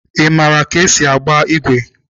Ị maara ka esi agba igwe?